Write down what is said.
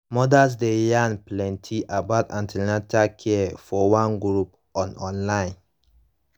mothers dey yarn plenty about an ten atal care for one group on online